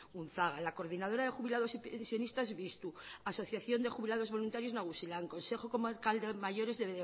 unzaga la coordinadora de jubilados y pensionistas biztu asociación de jubilados voluntarios nagusilan consejo comarcal de mayores